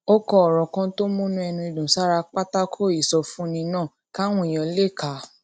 ó kọ òrò kan tó múnú ẹni dùn sára pátákó ìsọfúnni náà káwọn èèyàn lè kà á